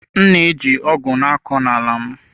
M na-eji ọgụ na-akọ ala m.